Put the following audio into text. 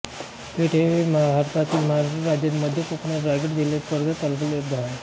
पेठ हे भारतातील महाराष्ट्र राज्यातील मध्य कोकणातील रायगड जिल्ह्यातील कर्जत तालुक्यातील एक गाव आहे